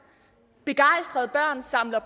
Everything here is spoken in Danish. begejstrede børn samler